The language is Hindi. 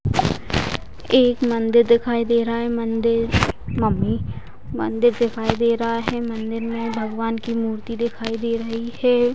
एक मंदिर दिखाई दे रहा है मंदिर मम्मी मंदिर दिखाई दे रहा है मंदिर में भगवान की मूर्ति दिखाई दे रही है।